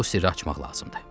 Bu sirri açmaq lazımdır.